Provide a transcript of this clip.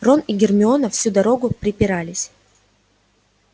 рон и гермиона всю дорогу препирались